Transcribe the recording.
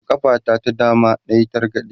a ƙafa ta ta dama nayi targade